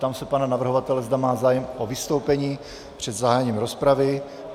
Ptám se pana navrhovatele, zda má zájem o vystoupení před zahájením rozpravy.